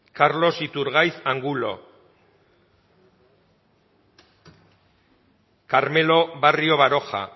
carlos iturgaiz angulo carmelo barrio baroja